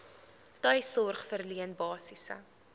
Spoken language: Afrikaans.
tuissorg verleen basiese